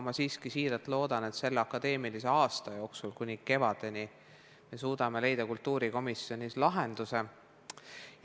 Me siiski siiralt loodan, et me suudame kultuurikomisjonis selle akadeemilise aasta jooksul, st praegusest kuni kevadeni, leida lahenduse.